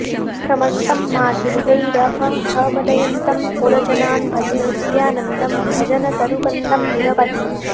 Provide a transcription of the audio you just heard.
भ्रमन्तं माधुर्यैरहह मदयन्तं पुरजनान् भजे नित्यानन्दं भजनतरुकन्दं निरवधि